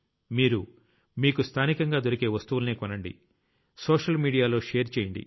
మీరు మీకు స్థానికంగా దొరికే వస్తువుల్నే కొనండి సోషల్ మీడియాలో షేర్ చెయ్యండి